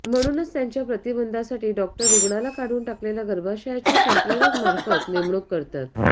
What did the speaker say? म्हणूनच त्यांच्या प्रतिबंधासाठी डॉक्टर रुग्णाला काढून टाकलेल्या गर्भाशयाच्या संप्रेरक मार्फत नेमणूक करतात